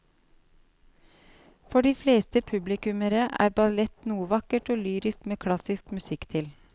For de fleste publikummere er ballett noe vakkert og lyrisk med klassisk musikk til.